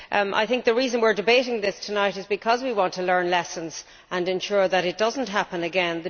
I think the reason we are debating this tonight is because we want to learn lessons and ensure that it does not happen again.